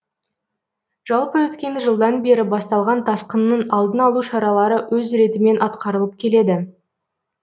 жалпы өткен жылдан бері басталған тасқынның алдын алу шаралары өз ретімен атқарылып келеді